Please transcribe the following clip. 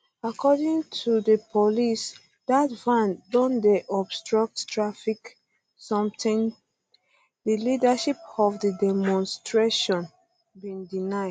according to di police dat van um don dey obstruct traffic sometin di leadership of di demonstration bin deny